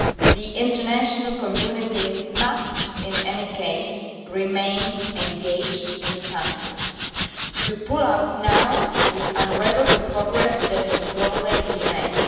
The international community must under all cirumstances remain engaged in the country. To pull out now would unravel the progress that has slowly been made.